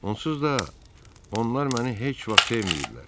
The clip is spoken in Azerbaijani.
Onsuz da onlar məni heç vaxt sevməyiblər.